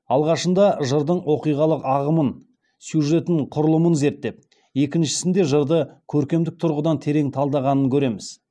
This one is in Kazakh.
алғашында жырдың оқиғалық ағымын сюжеттін құрылымын зерттеп екіншісінде жырды көркемдік тұрғыдан терең талдағанынан көреміз